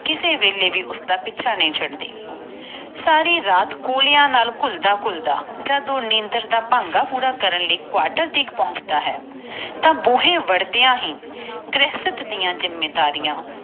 ਕਿਸੇ ਵੇਲੇ ਵੀ ਉਸਦਾ ਪਿੱਛਾ ਨਾਈ ਛੱਡ ਦੇ ਜਦੋ ਕਿਸੇ ਤੇਰ੍ਹ ਉਹ ਕਵਾਟਰ ਪੋਂਛਣਦਾ ਆ ਤਾ ਬੂਹੇ ਵੜਦਿਆਂ ਹੀ ਗ੍ਰਹਿਸਤ ਡਾ ਜਿੰਮੇਵਾਰੀਆਂ